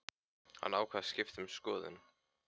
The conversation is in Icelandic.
Hann ákvað að skipta um skoðun.